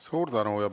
Suur tänu!